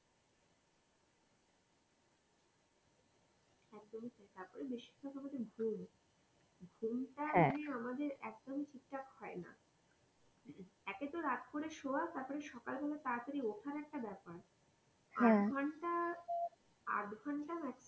তারপর বেশি ভাগ আমাদের ঘুম ঘুমটা তা আমাদের actually ঠিকথাক হয়না একই তো রাত করে সোয়া তারপর সকাল বেলায় তাড়াতাড়ি ওঠার একটা ব্যাপার এক ঘন্টা আধ ঘন্টা maximum.